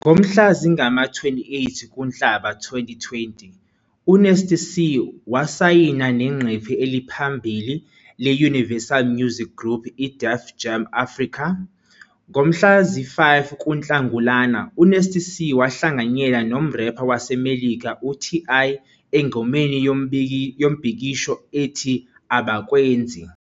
Ngomhla zingama-28 kuNhlaba 2020, uNasty C wasayina neqembu eliphambili le- Universal Music Group i- Def Jam Africa. Ngomhla zi-5 kuNhlangulana, uNasty C wahlanganyela nomrepha waseMelika u- TI engomeni yombhikisho ethi "Abakwenzi".